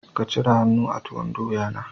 Ka cire han'nu ka a tuwon doya na